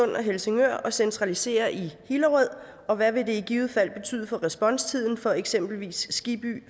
og helsingør og centralisere i hillerød og hvad vil det i givet fald betyde for responstiden for eksempelvis skibby